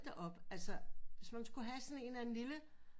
Da op altså hvis man skulle have sådan en eller anden lille